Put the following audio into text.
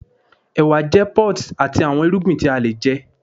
ewa jẹ pods ati awọn irugbin ti a le jẹ